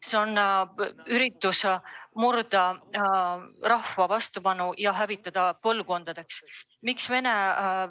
See on püüd murda rahva vastupanu ja hävitada see põlvkondadeks.